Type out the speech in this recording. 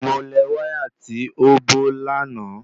Mo lẹ̀ wáyà tí ó bó lànà